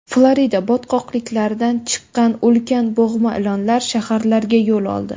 Florida botqoqliklaridan chiqqan ulkan bo‘g‘ma ilonlar shaharlarga yo‘l oldi.